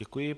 Děkuji.